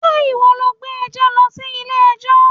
Ṣé ìwọ lọ gbé ẹjọ́ lọ sí ilé ẹjọ́?